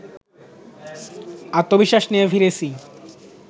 আত্মবিশ্বাস নিয়ে ফিরেছি